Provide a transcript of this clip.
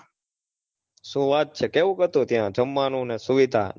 શું વાત છે કેવું હતું ત્યાં જમવાનું ને સુવિધા?